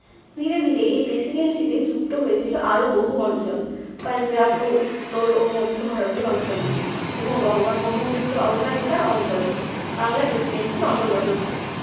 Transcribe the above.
ধীরে ধীরে এই presidency তে যুক্ত হয়েছিল আরও বহু অঞ্চল। পাঞ্জাব ও উত্তর ও মধ্য ভারতের অঞ্চলগুলি এবং গঙ্গা-ব্রহ্মপুত্র অববাহিকার অঞ্চলও বাংলা presidency র অনর্গত ছিল।